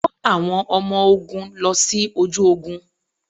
Kó àwọn ọmọ ogún lọ sí ojú ogún.